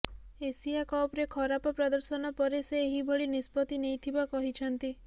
Asia କପରେ ଖରାପ ପଦର୍ଶନ ପରେ ସେ ଏହିଭଳି ନିଷ୍ପତ୍ତି ନେଇଥିବା କହିଛନ୍ତି